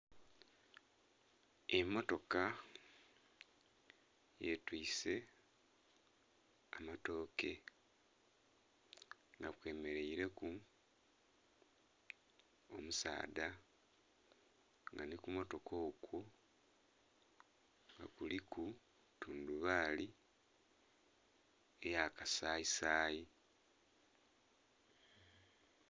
Emmotoka yetwise amatooke nga kwemeraire ku omusaadha nga nhi kumotoka okwo kuliku tundhubali eya kasayi sayi.